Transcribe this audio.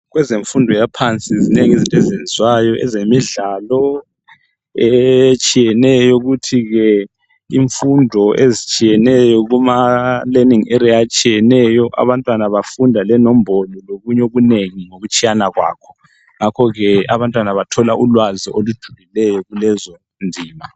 Kwezemfundo yaphansi zinengi izinto ezenziwayo kwezemidlalo kulezifundo ezitshiyeneyo ezigoqela inombolo lokunye okunengi ngokutshiyana kwakho ngakho abantwana bathola ulwazi olutshiyeneyo kulezo zifundo.